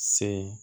Se